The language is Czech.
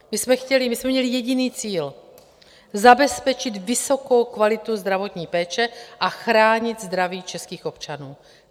My jsme měli jediný cíl - zabezpečit vysokou kvalitu zdravotní péče a chránit zdraví českých občanů.